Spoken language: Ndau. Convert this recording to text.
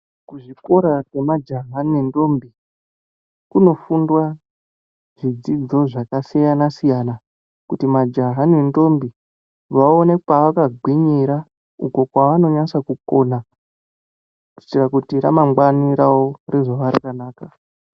Kuzvikora kwemajaha nendombi kunofundwa zvidzidzo zvakasiyana siyana kuti majaha nendombi vaone pavakagwinyira uko pavanonasa kukona kuitira kuti ramangwana rawo rizova rakanaka